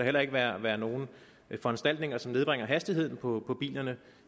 heller ikke være være nogen foranstaltninger som nedbringer hastigheden på bilerne